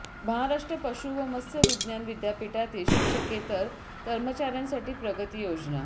महाराष्ट्र पशु व मत्स्य विज्ञान विद्यापीठातील शिक्षकेतर कर्मचार्यांसाठी प्रगती योजना